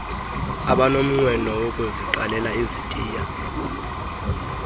abanomnqweno wokuziqalela izitiya